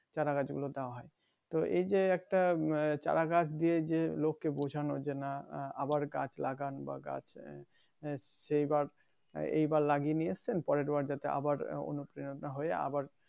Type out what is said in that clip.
চারা গাছ গুলো দেওয়া হয় তো এই যে একটা উম চারা গাছ দিয়ে যে লোককে বুঝানো যে নাহ আবার গাছ লাগান বা গাছ আহ সে গাছ এইবার লাগিয়ে নিয়েছেন পরের বার যাতে আবার অনুপ্রেরনা হয়ে আবার